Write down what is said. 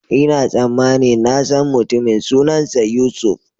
Ina tsammanin na san mutumin, sunansa Yusuf.